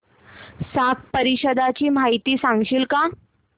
SAARC परिषदेची माहिती सांगशील का